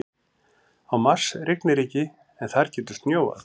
Á Mars rignir ekki en þar getur snjóað.